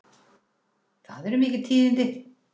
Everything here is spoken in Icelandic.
Það eru mikil tíðindi!